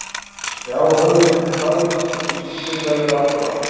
Já höfuð mitt er hraðbraut þar sem tíminn rennur aftur á bak